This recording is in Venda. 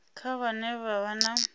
kha vhane vha vha na